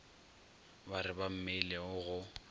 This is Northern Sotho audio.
ba re ba memilego go